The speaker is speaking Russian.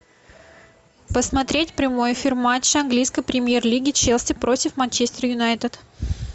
посмотреть прямой эфир матча английской премьер лиги челси против манчестер юнайтед